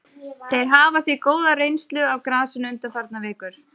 Þeir hafa því góða reynslu af grasinu undanfarnar vikur.